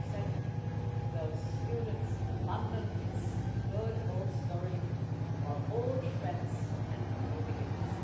As I said to those students in London, it is the good old story about old friends and new beginnings.